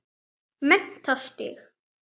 Mennta sig.